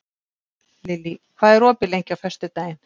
Lilý, hvað er opið lengi á föstudaginn?